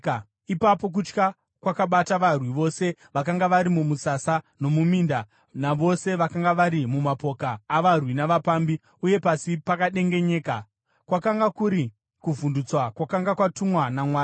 Ipapo kutya kwakabata varwi vose vakanga vari mumusasa nomuminda, navose vakanga vari mumapoka avarwi navapambi, uye pasi pakadengenyeka. Kwakanga kuri kuvhundutswa kwakanga kwatumwa naMwari.